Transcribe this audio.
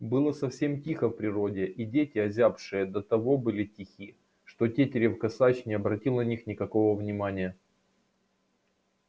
было совсем тихо в природе и дети озябшие до того были тихи что тетерев косач не обратил на них никакого внимания